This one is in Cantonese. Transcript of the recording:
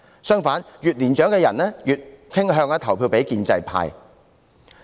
相反，越年長的人卻越傾向投票給建制派。